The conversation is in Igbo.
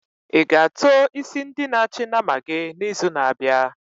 I-ga ató isi ndi na achị nama gị n'izu na-abịa?